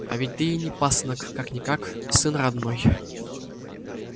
а ведь ты ей не пасынок как-никак родной сын